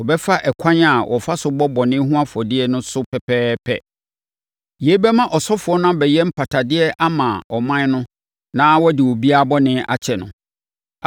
Ɔbɛfa ɛkwan a wɔfa so bɔ bɔne ho afɔdeɛ no so pɛpɛɛpɛ. Yei bɛma ɔsɔfoɔ no abɛyɛ mpatadeɛ ama ɔman no na wɔde obiara bɔne bɛkyɛ no.